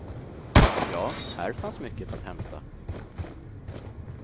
Ja, här fanns mycket att hämta.